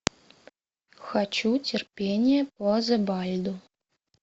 хочу терпение по зебальду